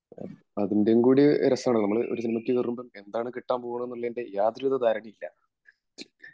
അതിന്റേയുംകൂടി രസമാണ് നമ്മൾ ഒരു സിനിമക്കി കേറുമ്പോൾ എന്താണ് കിട്ടാൻ പോവാണെന്ലെന്റെ യാതൊരുവിത ധാരണയും ഇല്ല